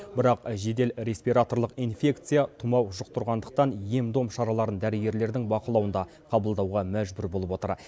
бірақ жедел респираторлық инфекция тымау жұқтырғандықтан ем дом шараларын дәрігерлердің бақылауында қабылдауға мәжбүр болып отыр